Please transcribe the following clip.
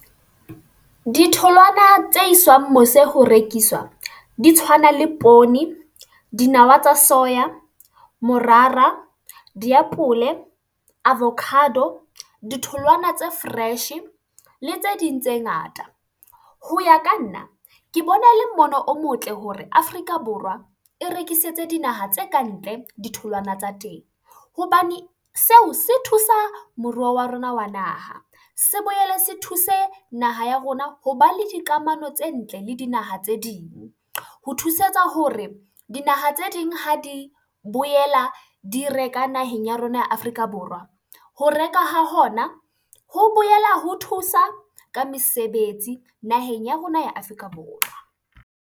Ditholwana tse iswang mose ho rekiswa, di tshwana le poone, dinawa tsa soya, morara, diapole, avocado, ditholwana tse fresh le tse ding tse ngata. Ho ya ka nna, ke bona e le mmono o motle hore Afrika Borwa e rekisetse dinaha tse ka ntle ditholwana tsa teng. Hobane seo se thusa moruo wa rona wa naha. Se boele se thuse naha ya rona ho ba le dikamano tse ntle le dinaha tse ding. Ho thusetsa hore dinaha tse ding ha di boela di reka naheng ya rona ya Afrika Borwa, ho reka ha hona ho bolela ho thusa ka mesebetsi naheng ya rona ya Afrika Borwa.